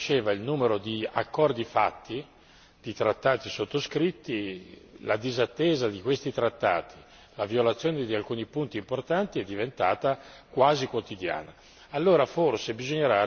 Paradossalmente, mentre cresceva il numero di accordi stipulati e di trattati sottoscritti, il mancato rispetto di tali trattati e la violazione di alcuni punti importanti sono diventati quasi quotidiani.